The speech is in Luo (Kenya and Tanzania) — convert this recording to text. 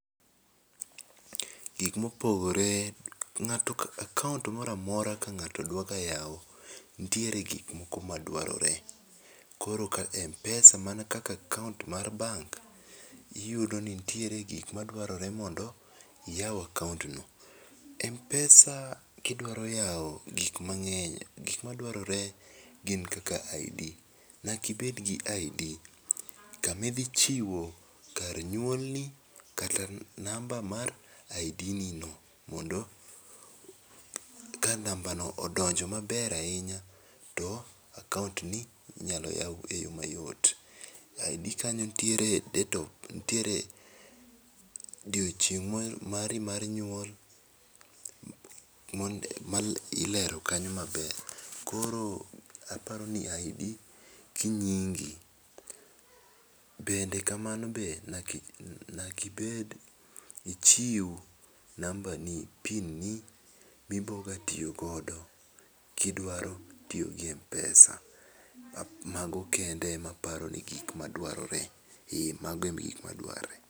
Gik mo opogore, akaont moro amora ka ng'ato dwa yawo nitiere gik moko ma dwarore. Koro ka mpesa mana kaka ka akaont mar bank oyudo ni nitiere gik ma dwarore gin kaka id, nyaka ibed gi id ka ma idhi chiwo kar nyuolni kata namba mar id ni no mondo ka namba no odonjo ma ber ahinya to akaont ni inya yaw e yoma yot. Id ka nitiere date of birth oduiechineg mar yuol to ilero kanyo ma ber koro aparo ni id gi nyingi. Bende ka mano be nyaka ibed ichiw namba ni pin ni i biro ga tiyo go i idwaro tiyo gi mpesa ma go ema apani gik ma dwarore, ee mago e gik ma dwarore